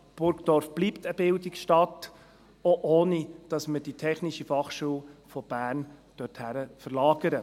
Burgdorf bleibt eine Bildungsstadt, auch ohne dass man die TF Bern dorthin verlagert.